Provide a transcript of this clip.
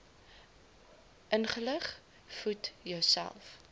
ingelig voed jouself